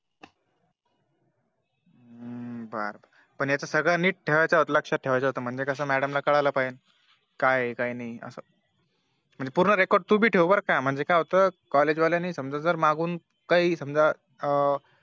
हम्म बर याच सर्व नीट ठेवायचं लक्ष्यात ठेवायचं होत म्हणजे Madam ला कळायला पाह्यनं काय आहे काय नाही असं पूर्ण Record तू भी ठेव बर का म्हणजे काय होत College वाल्यानी समझा जर मागून काही समझा अं